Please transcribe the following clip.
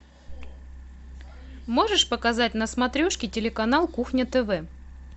можешь показать на смотрешке телеканал кухня тв